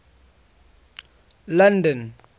london